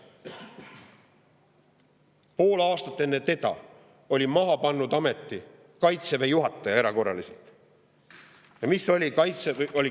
Pool aastat enne teda oli erakorraliselt ameti maha pannud Kaitseväe juhataja.